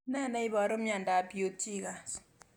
Ne neiparu miandop Peutz Jeghers